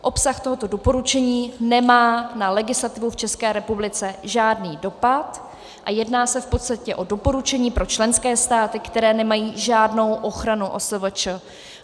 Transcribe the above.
Obsah tohoto doporučení nemá na legislativu v České republice žádný dopad a jedná se v podstatě o doporučení pro členské státy, které nemají žádnou ochranu OSVČ.